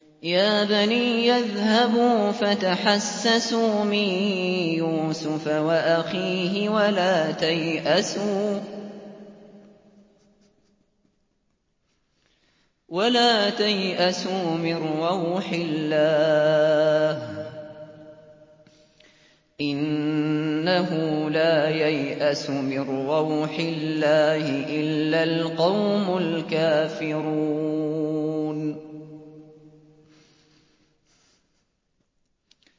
يَا بَنِيَّ اذْهَبُوا فَتَحَسَّسُوا مِن يُوسُفَ وَأَخِيهِ وَلَا تَيْأَسُوا مِن رَّوْحِ اللَّهِ ۖ إِنَّهُ لَا يَيْأَسُ مِن رَّوْحِ اللَّهِ إِلَّا الْقَوْمُ الْكَافِرُونَ